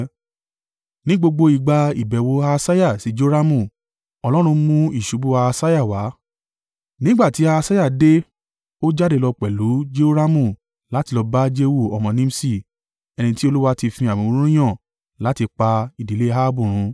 Ní gbogbo ìgbà ìbẹ̀wò Ahasiah sí Joramu, Ọlọ́run mú ìṣubú Ahasiah wá. Nígbà tí Ahasiah dé, ó jáde lọ pẹ̀lú Jehoramu láti lọ bá Jehu ọmọ Nimṣi, ẹni tí Olúwa ti fi àmì òróró yàn láti pa ìdílé Ahabu run.